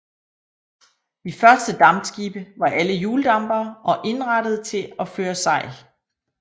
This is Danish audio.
De første dampskibe var alle hjuldampere og indrettede til at føre sejl